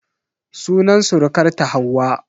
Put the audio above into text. Sunan surukarta Hauwa.